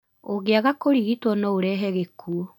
Ũngĩaga kũrigitwo, no ũrehe gĩkuũ